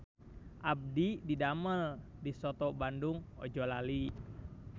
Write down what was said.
Abdi didamel di Soto Bandung Ojolali